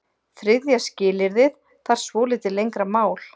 Þriðja skilyrðið þarf svolítið lengra mál.